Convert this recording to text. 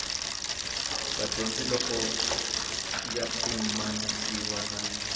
vadyondzi loko ya pimanisiwa na